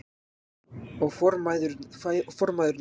Og formæðurnar allar.